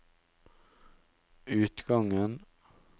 utgangen